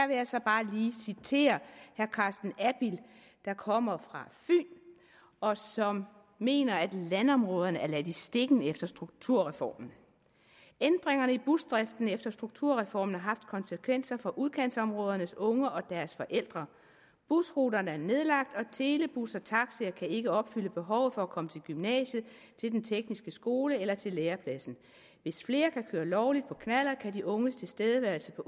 jeg så bare lige citere herre carsten abild der kommer fra fyn og som mener at landområderne er ladt i stikken efter strukturreformen ændringerne i busdriften efter strukturreformen har haft konsekvenser for udkantsområdernes unge og deres forældre busruter er nedlagt og telebussertaxier kan ikke opfylde behovet for at komme til gymnasiet til den tekniske skole eller til lærepladsen hvis flere kan køre lovligt på knallert kan de unges tilstedeværelse på